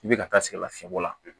I bɛ ka taa sɛgɛn lafiyɛbɔ la